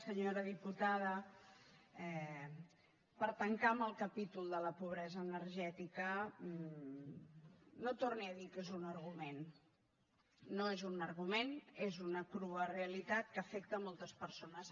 senyora diputada per tancar amb el capítol de la pobresa energètica no torni a dir que és un argument no és un argument és una crua realitat que afecta moltes persones